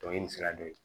Dɔnkili sira dɔ ye